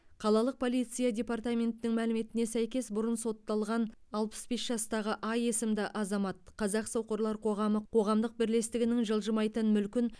қалалық полиция департаментінің мәліметіне сәйкес бұрын сотталған алпыс бес жастағы а есімді азамат қазақ соқырлар қоғамы қоғамдық бірлестігінің жылжымайтын мүлкін